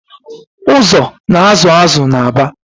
Ụzọ na-azụ azụ n’Aba